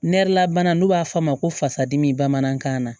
Nɛrɛla bana n'u b'a f'a ma ko fasadimi bamanankan na